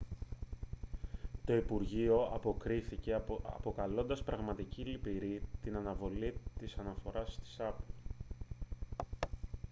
το υπουργείο αποκρίθηκε αποκαλώντας «πραγματικά λυπηρή» την αναβολή της αναφοράς της apple